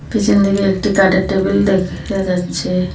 পিছনদিকে একটি কাঠের টেবিল দেখা যাচ্ছে।